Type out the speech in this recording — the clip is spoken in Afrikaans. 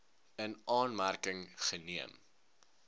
in aanmerking geneem